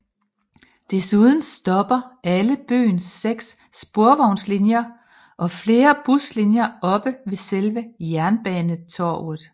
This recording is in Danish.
Desuden stopper alle byens seks sporvognslinjer og flere buslinjer oppe ved selve Jernbanetorget